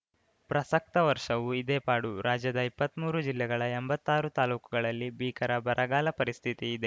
ಪ್ರಸಕ್ತ ವರ್ಷವೂ ಇದೇ ಪಾಡು ರಾಜ್ಯದ ಇಪ್ಪತ್ಮೂರು ಜಿಲ್ಲೆಗಳ ಎಂಭತ್ತಾರು ತಾಲೂಕುಗಳಲ್ಲಿ ಭೀಕರ ಬರಗಾಲ ಪರಿಸ್ಥಿತಿ ಇದೆ